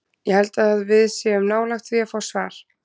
Ég held að við séum nálægt því að fá svar.